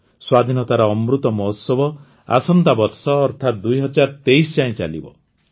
ସ୍ୱାଧୀନତାର ଅମୃତ ମହୋତ୍ସବ ଆସନ୍ତା ବର୍ଷ ଅର୍ଥାତ୍ ୨୦୨୩ ଯାଏଁ ଚାଲିବ